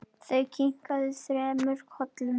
Þau kinka þremur kollum.